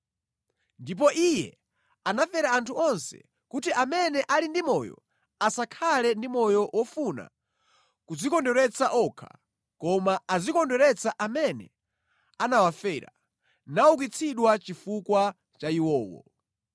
Ndipo Iye anafera anthu onse kuti amene ali ndi moyo, asakhale ndi moyo wofuna kudzikondweretsa okha, koma azikondweretsa amene anawafera naukitsidwa chifukwa cha iwowo.